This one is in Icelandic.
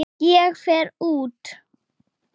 Ég fer út.